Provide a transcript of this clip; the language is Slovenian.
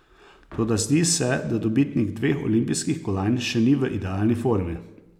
Toda zdi se, da dobitnik dveh olimpijskih kolajn še ni v idealni formi.